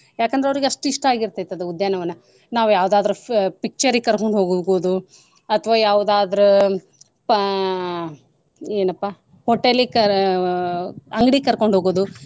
ಯಾಕಂದ್ರೆ ಅವರೀಗ ಅಷ್ಟ್ ಇಷ್ಟ ಆಗಿರ್ತೈತ್ ಅದು ಉದ್ಯಾನ ವನ. ನಾವ್ ಯಾವ್ದಾದ್ರು picture ರಿಗ್ ಕರ್ಕೊಂಡ್ ಹೋಗ್ಬೋದು ಅಥವಾ ಯಾವ್ದಾದ್ರು ಪ್~ ಏನಪಾ hotel ಕ~ ಅಂಗ್ಡಿ ಕರಕೊಂಡ್ ಹೋಗುದು.